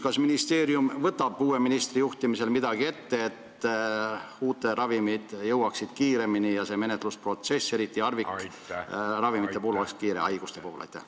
Kas ministeerium võtab uue ministri juhtimisel midagi ette, et uued ravimid jõuaksid kiiremini turule ja see menetlusprotsess, eriti harvikhaiguste puhul, oleks kiirem?